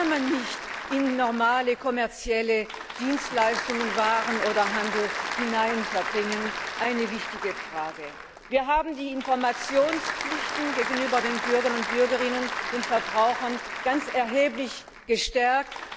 Die kann man nicht in normale kommerzielle Dienstleistungen, Waren oder Handel einordnen. Das war also eine wichtige Frage. Wir haben die Informationspflichten gegenüber den Bürgerinnen und Bürgern, den Verbrauchern ganz erheblich gestärkt.